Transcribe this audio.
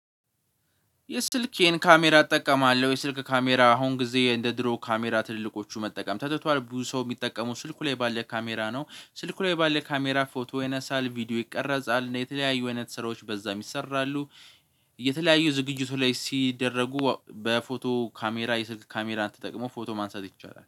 የስልኬን ካሜራ እጠቀማለሁ የስልክ ካሜራ አሁን ጊዜ እንደ ድሮ ካሜራ ትልልቆቹ መጠቀም ተትቷል ብዙ ሰው የሚጠቀሙ ስልኩ ላይ ባለ ካሜራ ነው ስልኩ ላይ ባለ ካሜራ ፎቶ ያነሳል ቪዲዮ ይቀረጻል የተለያዩ አይነት ስራዎች በዛ ይሰራሉ። የተለያዩ ዝግጅቱ ላይ ሲደረጉ በፎቶ ካሜራ የስልክ ካሜራ ተጠቅሞ ፎቶ ማንሳት ይቻላል